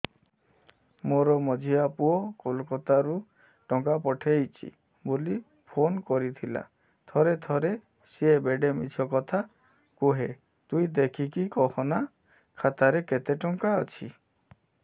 ମୋର ମଝିଆ ପୁଅ କୋଲକତା ରୁ ଟଙ୍କା ପଠେଇଚି ବୁଲି ଫୁନ କରିଥିଲା ଥରେ ଥରେ ସିଏ ବେଡେ ମିଛ କଥା କୁହେ ତୁଇ ଦେଖିକି କହନା ଖାତାରେ କେତ ଟଙ୍କା ଅଛି